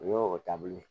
O y'o taabolo ye